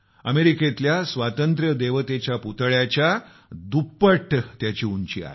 अमेरिकेतल्या स्वातंत्र्यदेवतेच्या पुतळ्याच्या दुप्पट त्याची उंची आहे